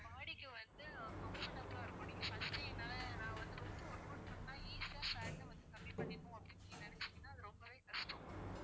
body க்கு வந்து comfortable லா இருக்கும் நீங்க first டே என்னால நான் வந்து ரொம்ப workout பண்ணா easy யா fat அ வந்து கம்மி பண்ணிப்போம் அப்படின்னு நீங்க நினைச்சீங்கன்னா அது ரொம்பவே கஷ்டம்